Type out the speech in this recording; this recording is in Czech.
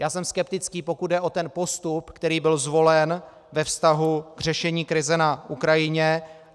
Já jsem skeptický, pokud jde o ten postup, který byl zvolen ve vztahu k řešení krize na Ukrajině.